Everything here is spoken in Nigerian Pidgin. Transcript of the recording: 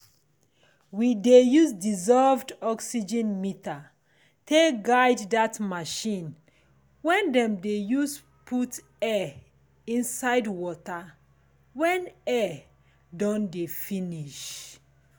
we dey use dissolved oxygen meter take guide that machine wen dem de use put air inside water wen air don de finish